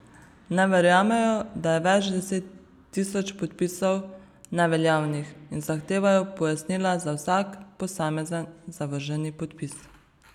Ne verjamejo, da je več deset tisoč podpisov neveljavnih, in zahtevajo pojasnila za vsak posamezen zavrženi podpis.